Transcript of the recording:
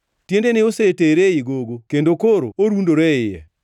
Tiendene osetere ei gogo kendo koro orundore e iye.